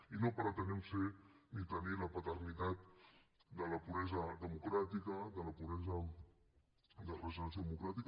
i no pretenem ser ni tenir la paternitat de la puresa democràtica de la puresa de regeneració democràtica